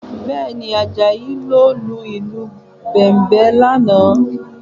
Bẹ́ẹ̀ni, Àjàyí ló lu ìlù Bẹ̀m̀bẹ̀ lánàá